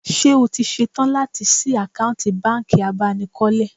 Ṣé o ṣetán láti ṣí àkáǹtì bánkì abánikọ́lé?